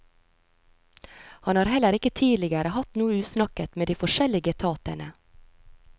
Han har heller ikke tidligere hatt noe usnakket med de forskjellige etatene.